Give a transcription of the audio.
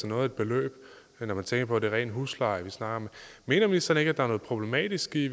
noget af et beløb når man tænker på at det er ren husleje vi snakker om mener ministeren ikke at der er noget problematisk i